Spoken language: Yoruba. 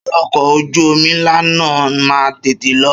Ṣé ọkọ̀ ojú omi ńlá náà máa tètè lọ?